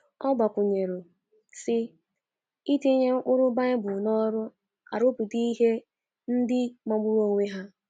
Ọ gbakwụnyere, sị: “ Itinye ụkpụrụ Bible n’ọrụ arụpụta ihe ndị magburu onwe ha. ”